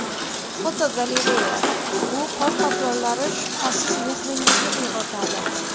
Fotogalereya: Bu qor qoplonlari shubhasiz mehringizni uyg‘otadi.